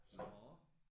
Nåh